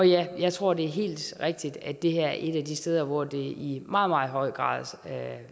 jeg tror det er helt rigtigt at det her er et af de steder hvor det i meget meget høj grad